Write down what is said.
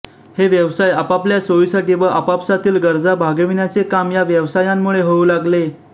हे व्यवसाय आपापल्या सोयीसाठी व आपापसातील गरजा भागविण्याचे काम या व्यवसायांमुळे होऊ लागले